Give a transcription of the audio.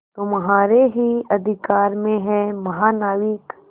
तुम्हारे ही अधिकार में है महानाविक